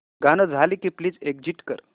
गाणं झालं की प्लीज एग्झिट कर